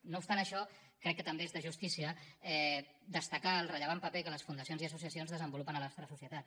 no obstant això crec que també és de justícia destacar el rellevant paper que les fundacions i associacions desenvolupen a la nostra societat